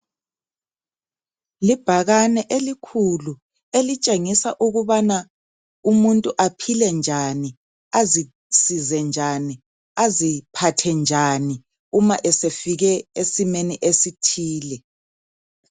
Libhakane elikhulu elitshengisa ukubana umuntu aphilenjani, azisize njani, aziphathe njani, uma esefike esimeni esithile.